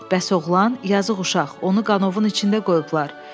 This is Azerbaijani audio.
Bəs oğlan, yazıq uşaq, onu qanovun içində qoyublar.